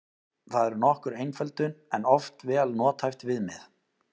Það er nokkur einföldun en oft vel nothæft viðmið.